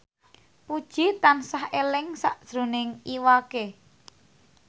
Puji tansah eling sakjroning Iwa K